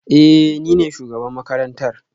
Ee, ni ne shugaban makarantar